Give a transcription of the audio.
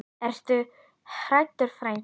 Ertu hræddur frændi?